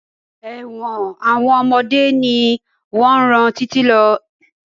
Ẹ̀wọ̀n àwọn ọmọdé ni wọn rán títí lọ.